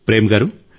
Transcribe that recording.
ప్రేమ్గారూ